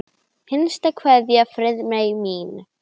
HINSTA KVEÐJA Friðmey mín.